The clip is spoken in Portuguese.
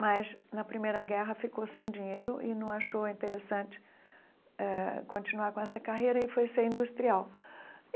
mas, na Primeira Guerra, ficou sem dinheiro e não achou interessante eh continuar com essa carreira e foi ser industrial.